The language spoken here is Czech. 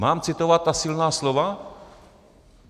Mám citovat ta silná slova?